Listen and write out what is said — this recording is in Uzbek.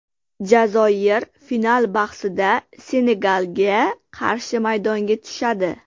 Jazoir final bahsida Senegalga qarshi maydonga tushadi.